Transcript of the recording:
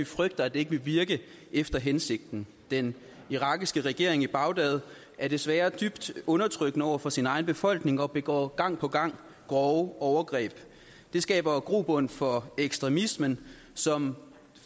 frygter at det ikke vil virke efter hensigten den irakiske regering i bagdad er desværre dybt undertrykkende over for sin egen befolkning og begår gang på gang grove overgreb og det skaber jo grobund for ekstremismen som